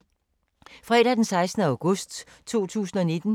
Fredag d. 16. august 2019